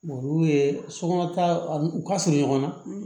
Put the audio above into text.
Olu ye sokɔnɔ taw u ka surun ɲɔgɔn na